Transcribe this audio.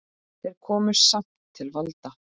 Þeir komust samt til valda.